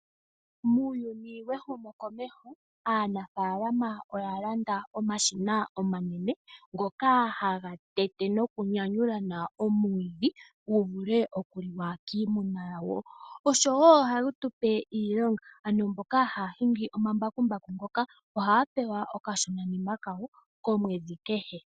Muuyuni wehumo komeho aanafalama oya landa omashina omanene ngoka haga tete nokunyanyula omwiidhi, opo gu vule okuliwa kiimuna. Ohayi tupe iilonga oshoka mboka haya hingi omambakumbaku ohaya pewa okashonanima kawo komwedhi kehe.